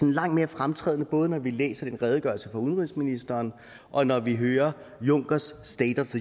langt mere fremtrædende både når vi læser den redegørelse fra udenrigsministeren og når vi hører junckers state of